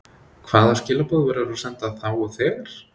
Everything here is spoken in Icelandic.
Hvaða skilaboð verður að senda þá og þegar?